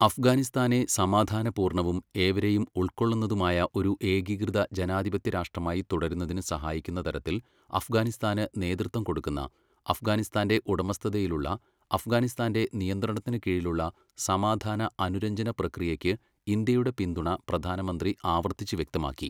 അഫ്ഗാനിസ്ഥാനെ സമാധാന പൂർണ്ണവും, ഏവരെയും ഉൾക്കൊള്ളുന്നതുമായ ഒരു ഏകീകൃത ജനാധിപത്യരാഷ്ട്രമായി തുടരുന്നതിന് സഹായിക്കുന്ന തരത്തിൽ അഫ്ഗാനിസ്ഥാന് നേതൃത്വം കൊടുക്കുന്ന, അഫ്ഗാനിസ്ഥാന്റെ ഉടമസ്ഥതയിലുള്ള, അഫ്ഗാനിസ്ഥാന്റെ നിയന്ത്രണത്തിന് കീഴിലുള്ള സമാധാന, അനുരഞ്ജന പ്രക്രിയയ്ക്ക് ഇന്ത്യയുടെ പിന്തുണ പ്രധാനമന്ത്രി ആവർത്തിച്ച് വ്യക്തമാക്കി.